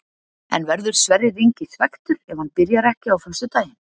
En verður Sverrir Ingi svekktur ef hann byrjar ekki á föstudaginn?